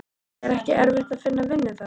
Er ekki erfitt að finna vinnu þar?